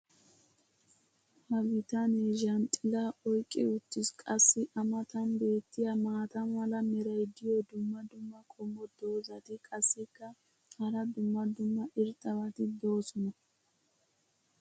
ha bitanee zhanxxilaa oyqqi uttis. qassi a matan beetiya maata mala meray diyo dumma dumma qommo dozzati qassikka hara dumma dumma irxxabati doosona.